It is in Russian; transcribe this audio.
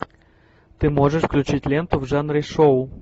ты можешь включить ленту в жанре шоу